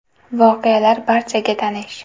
Voqealar barchaga tanish.